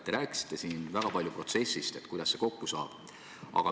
Te rääkisite siin väga palju protsessist ja kuidas see kokku saab.